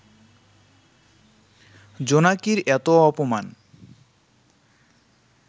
জোনাকির এত অপমান